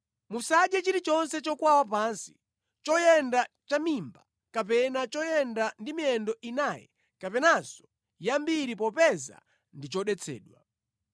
Musadye chilichonse chokwawa pansi, choyenda chamimba kapena choyenda ndi miyendo inayi kapenanso yambiri popeza ndi chodetsedwa.